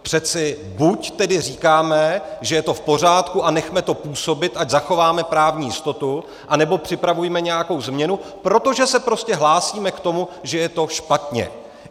Přeci buď tedy říkáme, že je to v pořádku a nechme to působit, ať zachováme právní jistotu, anebo připravujme nějakou změnu, protože se prostě hlásíme k tomu, že je to špatně.